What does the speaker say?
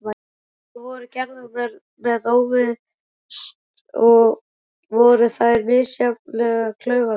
Tilraunir voru gerðar með útivist og voru þær misjafnlega klaufalegar.